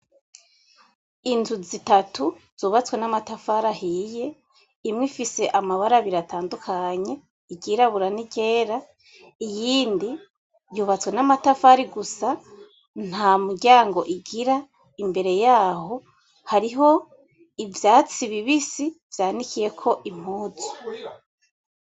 Inzu zitatu zubatswe namatafari ahiye imwe Ifise amabara abiri atandukanye irirabura niryera, iyindi yubatswe namatafari gusa ntamuryango igira imbere yaho hariho ivyatsi bibisi vyanikiyeko impuzu.